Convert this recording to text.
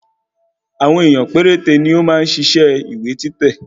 Àwọn ènìyàn péréte ni ó máa ń ṣiṣẹ́ ìwé títẹ̀